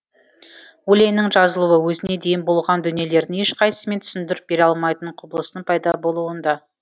өлеңнің жазылуы өзіне дейін болған дүниелердің ешқайсысымен түсіндіріп бере алмайтын құбылыстың пайда болуында